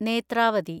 Netravati